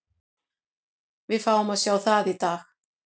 Við fáum að sjá það í dag.